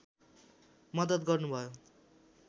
मद्दत गर्नुभयो